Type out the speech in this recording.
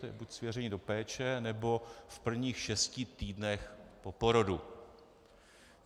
To je buď svěření do péče, nebo v prvních šesti týdnech po porodu.